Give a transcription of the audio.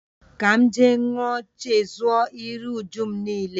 Ka m je ṅua, chezọ iru-újúm nile